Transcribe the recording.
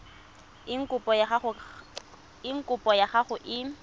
eng kopo ya gago e